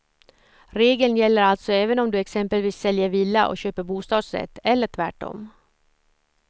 Regeln gäller alltså även om du exempelvis säljer villa och köper bostadsrätt eller tvärtom.